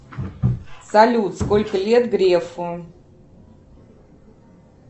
салют сколько лет грефу